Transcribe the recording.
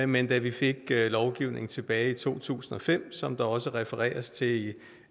men da vi fik lovgivningen tilbage i to tusind og fem som der også refereres til i